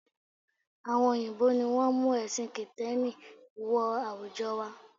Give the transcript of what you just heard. Àwọn òyìnbó ni wọ́n mú ẹ̀sìn kìtẹ́nì wọ àwùjọ wa